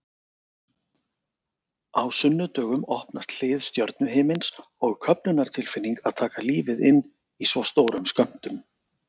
Á sunnudögum opnast hlið stjörnuhimins og köfnunartilfinning að taka lífið inn í svo stórum skömmtum.